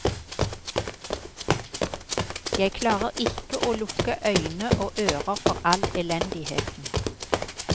Jeg klarer ikke å lukke øyne og ører for all elendigheten.